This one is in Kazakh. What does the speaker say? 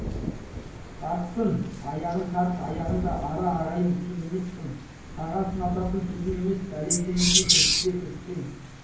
тартсын аяғын тарт аяғыңды ара ағайын сен емессің саған сынататын сөзім емес бәле іздемесең кіріспе кіріссең